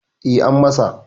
E, an masa.